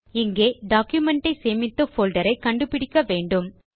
இங்கே டாக்குமென்ட் ஐ சேமித்த போல்டர் ஐ கண்டு பிடிக்க வேண்டும்